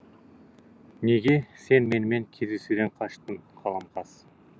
неге сен менімен кездесуден қаштың қаламқас